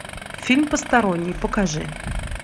фильм посторонний покажи